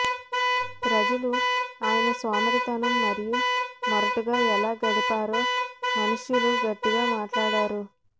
ప్రజలు ఆయన సోమరితనం మరియు మొరటుగా ఎలా గడిపారో మనుష్యులు గట్టిగా మాట్లాడారు